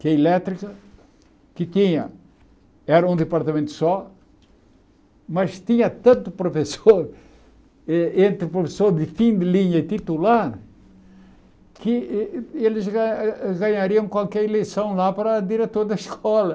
Que a elétrica, que tinha, era um departamento só, mas tinha tanto professor eh, entre professor de fim de linha e titular, que eles ganha ganhariam qualquer eleição lá para diretor da escola.